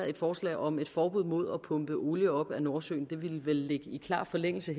et forslag om et forbud mod at pumpe olie op af nordsøen det ville vel ligge i klar forlængelse